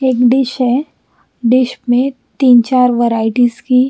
एक डिश है डिश मे तीन चार वराइटीज की--